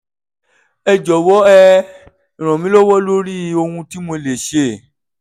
ẹ jọ̀wọ́ ẹ ràn mí lọ́wọ́ lórí ohun tí mo lè ṣe